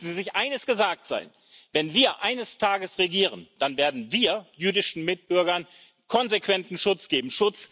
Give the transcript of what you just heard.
Lassen Sie sich eines gesagt sein Wenn wir eines Tages regieren, dann werden wir jüdischen Mitbürgern konsequenten Schutz geben.